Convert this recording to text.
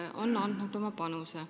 Nad on andnud oma panuse.